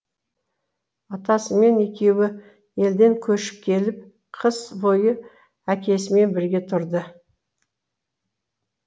атасымен екеуі елден көшіп келіп қыс бойы әкесімен бірге тұрды